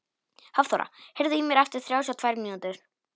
Hafþóra, heyrðu í mér eftir þrjátíu og tvær mínútur.